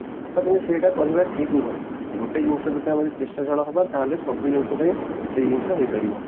ତାପରେ ସେଇଟା କହିବା ଠିକ ନୁହେଁ ଗୋଟେ ଜିନିଷ ପ୍ରତି ଆମେ ଯଦି ଚେଷ୍ଟାଶୀଳ ହବା ତାହେଲେ ସବୁ ଜିନିଷ ପାଇଁ ସେଇ ଜିନିଷ ହେଇପାରିବ